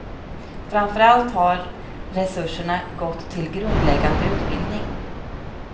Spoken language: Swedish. Framför allt har resurserna gått till grundläggande utbildning.